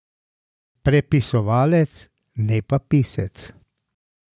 Prepisovalec, ne pa pisec.